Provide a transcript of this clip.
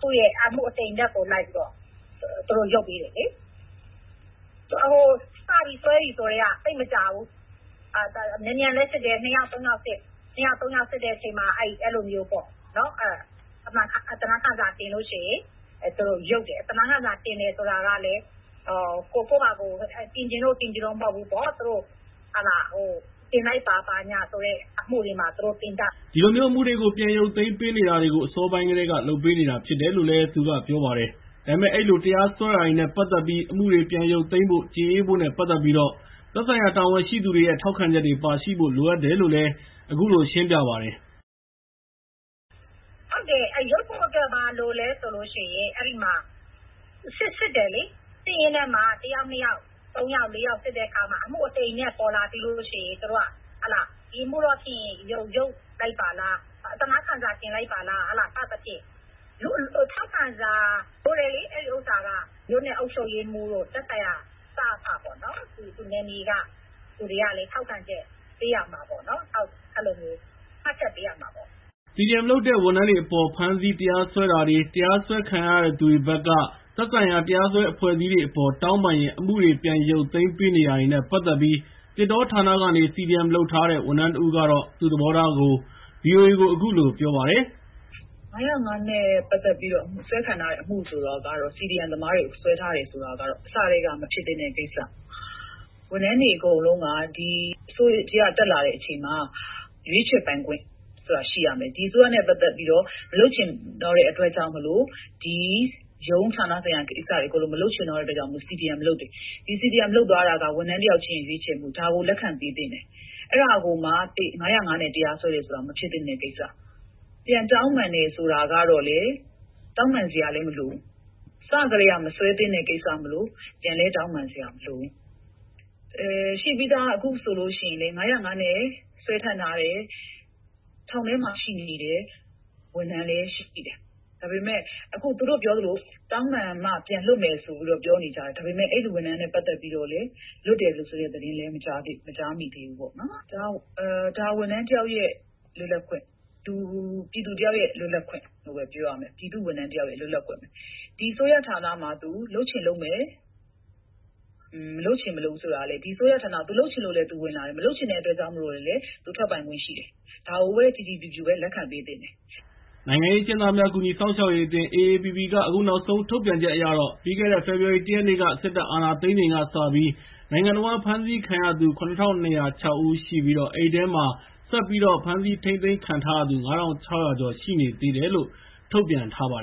သူရဲ့ အမှုအတိမ်အနက်တွေကိုလိုက်ပြီးတော့ သူတို့ ရုပ်ပေးတယ်။ စပြီးစွဲပြီဆိုကတည်းက သိပ်မကြာဘူး။ မြန်မြန်လည်းစစ်တယ်။ ၂ ယောက် ၃ ယောက်စစ်တဲ့အချိန်မှာ အဲဒီလိုမျိုး အသနားခံစာတင်လို့ရှိရင် သူတို့ ရုပ်သိမ်းတယ်။ အသနားခံစာတင်တယ်ဆိုတာကလည်း ကိုယ့်ဘာသာကိုယ်တင်ချင်လို့မဟုတ်ဘူး။ သူတို့ တင်လိုက်ပါဆိုတဲ့အမှုတွေမှာ တင်ကြတာ။” ဒီလိုမျိုး အမှုတွေကို ပြန်ရုတ်သိမ်းပေးနေတာတွေကို အစောပိုင်းကတည်း လုပ်ပေးနေတာဖြစ်တယ်လို့လည်း သူကပြောပါတယ်။ ဒါပေမဲ့ အဲဒီလို တရားစွဲတာတွေနဲ့ ပတ်သက်ပြီး အမှုတွေကို ပြန်ရုပ်သိမ်းဖို့၊ ကျေအေးဖို့နဲ့ပတ်သက်ပြီး သက်ဆိုင်ရာ တာဝန်ရှိသူတွေရဲ့ ထောက်ခံချက်တွေပါရှိဖို့လိုအပ်တယ်လို့လည်း အခုလို ရှင်းပြပါတယ်။ “ဟုတ်တယ်။ အမှုရုပ်သိမ်းဖို့အတွက် ဘာလိုလဲဆိုလိုရှိရင် အဲဒီမှာ စစ်တယ်၊ စစ်ရင်းနဲ့မှ ၁ ယောက်၊ ၂ ယောက်၊ ၃ ယောက်၊ ၄ ယောက် စစ်ရင်းနဲ့မှ အမှုအတိမ်အနက်ပေါ်လာပြီးလို့ရှိရင်၊ ဒီအပေါ်တော့ဖြင့် ရုပ်သိမ်းလိုက်ပါလား၊ အသနားခံစာတင် လိုက်ပါလား စသဖြင့်ပေါ့။ ထောက်ခံစာလိုတယ်လေ။ မြို့နယ်အုပ်ချုပ်ရေးမှူးတို့ သက်ဆိုင်ရာ နယ်မြေက စအဖပေါ့နော် အဲဒီလူတွေရဲ့ထောက်ခံချက် ပေးရမှာပေါ့ မှတ်ချက်ပေးရမှာပေါ့။ CDM လုပ်တဲ့ ဝန်ထမ်းတွေအပေါ် ဖမ်းဆီးတရားစွဲတာတွေနဲ့ တရားစွဲခံရသူတွေဘက် သက်ဆိုင်ရာတရားစွဲအဖွဲ့အစည်းတွေအပေါ် တောင်းပန်ရင် အမှုတွေ ပြန် ရုပ်သိမ်းပေးနေတာနဲ့ပတ်သက်ပြီး သစ်တောဌာနကနေ CDM လုပ်ထားတဲ့ ဝန်ထမ်း တဦးကတော့ သူူ့သဘောထားကို ဗီအိုအေကို အခုလို ပြောပါတယ်။ ၅၀၅ နဲ့ ပတ်သက်ပြီး စွဲခံထားရတဲ့ အမှုတွေဆိုတာကတော့ CDM သမားတွေစွဲထားတယ်ဆိုတာကတော့ အစကတည်းက မဖြစ်သင့်တဲ့ကိစ္စ၊ ဝန်ထမ်းတွေအကုန်လုံးက ဒီအစိုးရတက်လာတဲ့အချိန်မှာ ရွေးချယ်ပိုင်ခွင့်ဆိုတာရှိရမယ်။ ဒီအစိုးရနဲ့ပတ်သက်ပြီးတော့ မလုပ်ချင်တော့တဲ့အတွက်ကြောင့်မို့လို့ ရုံး၊ ဌာနဆိုင်ရာကိစ္စတွေ မလုပ်ချင်တော့တဲ့အတွက်ကြောင့်မို့လို့ CDM လုပ်တာ။ ဒီလို CDM လုပ်သွားတာက ဝန်ထမ်းတယောက်ရဲ့ ရွေးချယ်မှု၊ ဒါကို လက်ခံပေးသင့်တယ်။ အဲဒါကိုမှာ ၅၀၅ နဲ့ စွဲတယ်ဆိုတာက မဖြစ်သင့်တဲ့ကိစ္စ၊ ပြန်တောင်းပန်တယ်ဆိုတာကတော့ တောင်းပန်စရာလည်းမလိုဘူး၊ အစကတည်းက မစွဲသင့်တဲ့ကိစ္စမို့လို့ ပြန်လည်းတောင်းပန်စရာမလိုဘူး။ ရှိပြီးသား အခုဆိုလိုရှိရင်လည်း ၅၀၅ နဲ့ စွဲခံထားရတဲ့ ထောင်ထဲမှာရှိတဲ့ ဝန်ထမ်းလည်းရှိတယ်။ ဒါပေမဲ့ အခုသူတို့ပြောသလို တောင်းပန်မှ ပြန်လွတ်မယ်ဆိုပြီး ပြောနေတာလည်းရှိတယ်။ ဒါပေမဲ့ အဲဒီဝန်ထမ်းနဲ့ပတ်သက်ပြီးတော့လည်း လွတ်တယ်ဆိုတဲ့ သတင်းလည်းမကြားမိသေးဘူး။ CDM လုပ်တာက ဝန်ထမ်းတယောက်ရဲ့ လွတ်လပ်ခွင့်၊ ပြည်သူတယောက်ရဲ့ လွတ်လပ်ခွင့်လို့ပဲ ပြောရမယ်။ ပြည်သူ့ဝန်ထမ်းတယောက်ရဲ့ လွတ်လပ်ခွင့်၊ ဒီအစိုးရဌာနမှာ သူလုပ်ချင်လုပ်မယ်၊ မလုပ်ချင်မလုပ်ဘူးဆိုတာကလည်း ဒီအစိုးရဌာနမှာ သူလုပ်ချင်လို့လည်း သူဝင်လာတယ်၊ မလုပ်ချင်လို့လည်း ထွက်ပိုင်ခွင့်ရှိတယ်။ ဒါကိုပဲ ကြည်ကြည်ဖြူဖြူပဲ လက်ခံပေးသင့်တယ်။” နိုင်ငံရေးအကျဉ်းသားများကူညီစောင့်ရှောက်ရေးအသင်း AAPP က အခုနောက်ဆုံးထုတ်ပြန်ချက်အရတော့ ပြီးခဲ့တဲ့ ဖေဖော်ဝါရီ ၁ ရက်နေ့ စစ်တပ်အာဏာသိမ်း ချိန်ကစပြီး နိုင်ငံတဝန်း ဖမ်းဆီးခံရသူ၇,၂၀၆ ဦးရှိပြီး အဲဒီထဲမှာ ဆက်ပြီးတော့ ဖမ်းဆီးခံရသူ ၅,၆၀၀ ကျော်ရှိနေသေး ရှိတယ်လို့ ထုတ်ပြန်ထားပါတယ်